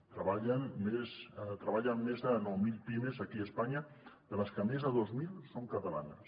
hi treballen més de nou mil pimes aquí a espanya de les que més de dues mil són catalanes